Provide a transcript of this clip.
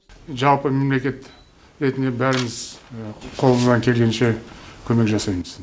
жалпы мемлекет ретінде бәріміз қолымыздан келгенше көмек жасаймыз